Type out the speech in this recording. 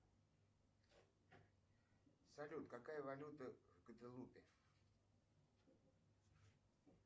салют какая валюта в гваделупе